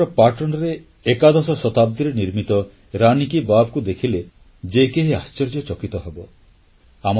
ଗୁଜରାଟର ପାଟଣରେ ଏକାଦଶ ଶତାବ୍ଦୀରେ ନିର୍ମିତ ରାନୀ କି ବାବ୍କୁ ଦେଖିଲେ ଯେ କେହି ଆଶ୍ଚର୍ଯ୍ୟଚକିତ ହେବ